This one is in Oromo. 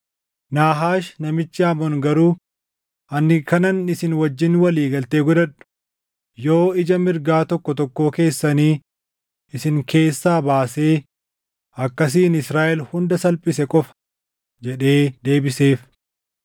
Naahaash namichi Amoon garuu, “Ani kanan isin wajjin walii galtee godhadhu yoo ija mirgaa tokkoo tokkoo keessanii isin keessaa baasee akkasiin Israaʼel hunda salphise qofa” jedhee deebiseef.